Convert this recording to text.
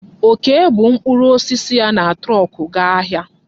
Okee bu mkpụrụ osisi ya na trọọkụ gaa ahịa.